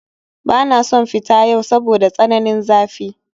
Bana son fita yau saboda tsananin zafi